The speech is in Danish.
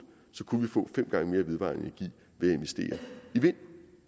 kunne vi få fem gange mere vedvarende energi ved